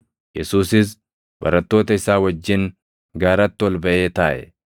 Yesuusis barattoota isaa wajjin gaaratti ol baʼee taaʼe.